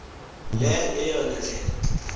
le yeyona ndlela